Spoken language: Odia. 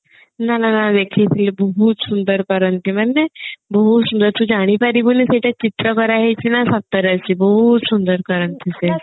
ନା ନା ନା ଦେଖେଇଥିଲେ ବହୁତ ସୁନ୍ଦର କରନ୍ତି ମାନେ ବହୁତ ସୁନ୍ଦର ତୁ ଜାଣିପାରିବୁନି କୋଉଟା ଚିତ୍ର କରା ହେଇଛି ନା ସତରେ ଅଛି ବହୁତ ସୁନ୍ଦର କରନ୍ତି ସେ